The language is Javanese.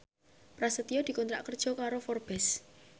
Prasetyo dikontrak kerja karo Forbes